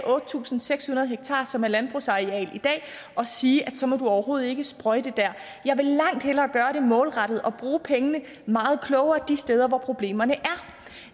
otte tusind seks hundrede ha som er landbrugsareal i dag og sige at så må man overhovedet ikke sprøjte der jeg vil langt hellere gøre det målrettet og bruge pengene meget klogere de steder hvor problemerne